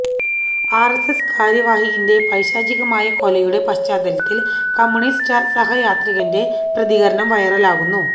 R S S കാര്യവാഹകിന്റെ പൈശാചികമായ കൊലയുടെ പശ്ചാത്തലത്തിൽ കമ്മ്യൂണിസ്റ്റ് സഹയാത്രികന്റെ പ്രതികരണം വൈറലാകുന്നു